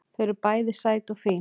Þau eru bæði sæt og fín